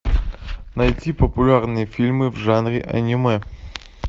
найти популярные фильмы в жанре аниме